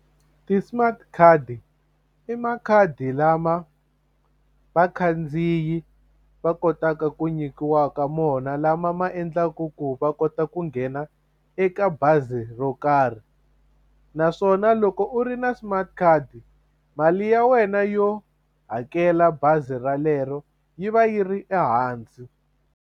Ti-smart card i makhadi lama vakhandziyi va kotaka ku nyikiwaka mona lama ma endlaku ku va kota ku nghena eka bazi ro karhi naswona loko u ri na smart card mali ya wena yo hakela bazi ralero yi va yi ri ehansi.